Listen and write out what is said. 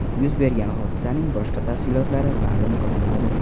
Yuz bergan hodisaning boshqa tafsilotlari ma’lum qilinmadi.